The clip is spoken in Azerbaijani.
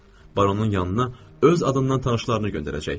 Baronun yanına öz adından tanışlarını göndərəcək.